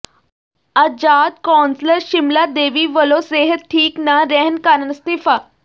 ਆਜ਼ਾਦ councillor Shimla Devi ਵੱਲੋਂ ਸਿਹਤ ਠੀਕ ਨਾ ਰਹਿਣ ਕਾਰਨ ਅਸਤੀਫ਼ਾ